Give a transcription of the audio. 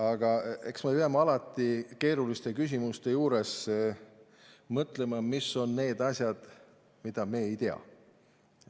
Aga eks me peame alati keeruliste küsimuste juures mõtlema, mis on need asjad, mida me ei tea.